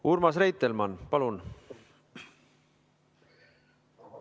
Urmas Reitelmann, palun!